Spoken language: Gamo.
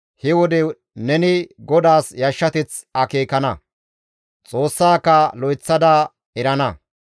he wode neni GODAAS yashshateth akeekana; Xoossaaka lo7eththada erana.